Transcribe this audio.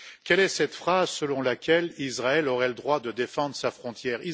Quelle est cette phrase selon laquelle Israël aurait le droit de défendre sa frontière?